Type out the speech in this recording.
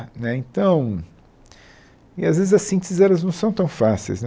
Né então e as vezes, as sínteses elas não são tão fáceis né.